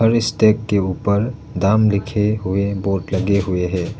के ऊपर दाम लिखे हुए बोर्ड लगे हुए हैं।